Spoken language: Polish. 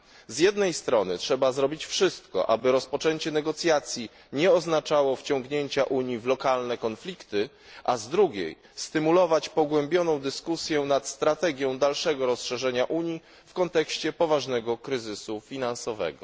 Z jednej strony, trzeba zrobić wszystko, aby rozpoczęcie negocjacji nie oznaczało wciągnięcia Unii w lokalne konflikty, a z drugiej, stymulować pogłębioną dyskusję nad strategią dalszego rozszerzenia Unii w kontekście poważnego kryzysu finansowego.